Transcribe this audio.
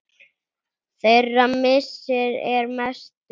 Þeirra missir er mestur.